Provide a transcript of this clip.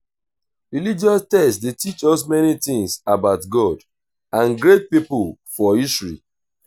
religious text de teach us many things about god and great pipo for history